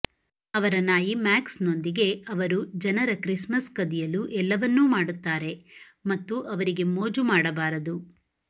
ಅವರ ನಾಯಿ ಮ್ಯಾಕ್ಸ್ನೊಂದಿಗೆ ಅವರು ಜನರ ಕ್ರಿಸ್ಮಸ್ ಕದಿಯಲು ಎಲ್ಲವನ್ನೂ ಮಾಡುತ್ತಾರೆ ಮತ್ತು ಅವರಿಗೆ ಮೋಜು ಮಾಡಬಾರದು